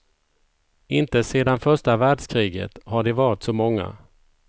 Inte sedan första världskriget har de varit så många.